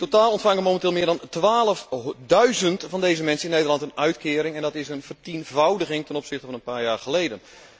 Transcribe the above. In totaal ontvangen momenteel meer dan twaalfduizend van deze mensen in Nederland een uitkering en dat is een vertienvoudiging ten opzichte van een paar jaar geleden.